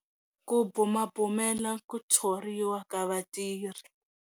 Ku bumabumela ku thoriwa ka vatirhi.